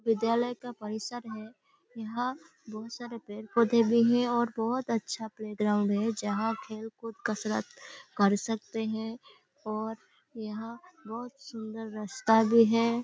विद्यालय का परिसर है। यहाँ बहोत सारे पेड़-पौधे भी हैं और बहोत अच्छा प्ले ग्राउंड है जहाँ खेल-कूद कसरत कर सकते हैं और यहाँ बहोत सुन्दर रास्ता भी है।